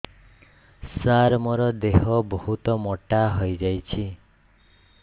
ସାର ମୋର ଦେହ ବହୁତ ମୋଟା ହୋଇଯାଉଛି